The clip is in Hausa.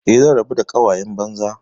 Eh, zan rabu da ƙawayen banza.